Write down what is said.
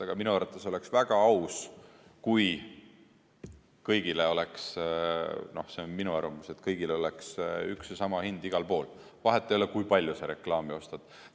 Aga minu arvates oleks väga aus – see on minu arvamus –, kui kõigile oleks üks ja sama hind igal pool, vahet ei ole, kui palju sa reklaami ostad.